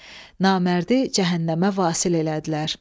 Namərdi cəhənnəmə vasil elədilər.